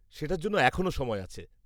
সেটার জন্য এখনো সময় আছে।